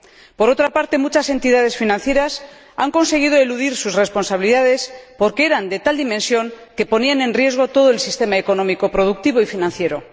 Por otra parte, muchas entidades financieras han conseguido eludir sus responsabilidades, porque eran de tal dimensión que ponían en riesgo todo el sistema económico, productivo y financiero.